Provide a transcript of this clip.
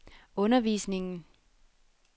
undervisningen